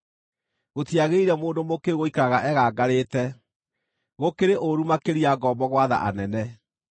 Gũtiagĩrĩire mũndũ mũkĩĩgu gũikaraga egangarĩte; gũkĩrĩ ũũru makĩria ngombo gwatha anene!